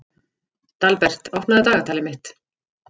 Dalbert, opnaðu dagatalið mitt.